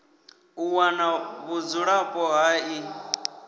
u wana vhudzulapo ha ḽi